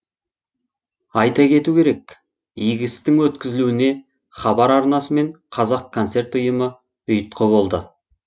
айта кету керек игі істің өткізілуіне хабар арнасы мен қазақконцерт ұйымы ұйытқы болды